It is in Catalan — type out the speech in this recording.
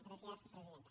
gràcies presidenta